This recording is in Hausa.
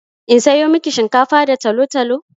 In sayo miki shinkafa da talo-talo?